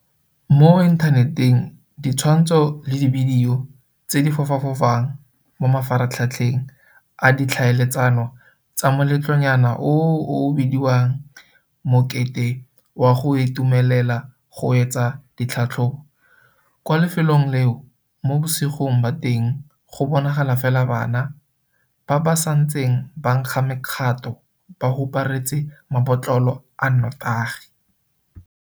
Mo inthaneteng ditshwantsho le dibidio tse di fofafofang mo mafaratlhatlheng a ditlhaeletsano tsa moletlonyana o o o o bediwang mokete wa go itumelela go wetsa ditlhatlhobo kwa lefelong leo mo bosigong ba teng go bonagala fela bana ba ba santseng ba nkga mekgato ba huparetse mabotlolo a notagi.